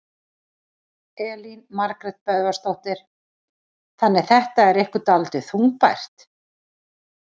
Elín Margrét Böðvarsdóttir: Þannig þetta er ykkur dálítið þungbært?